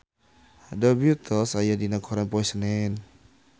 The Beatles aya dina koran poe Senen